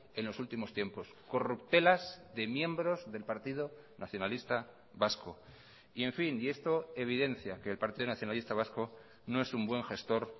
en los últimos tiempos corruptelas de miembros del partido nacionalista vasco y en fin y esto evidencia que el partido nacionalista vasco no es un buen gestor